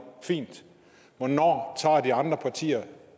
fint hvornår tager de andre partier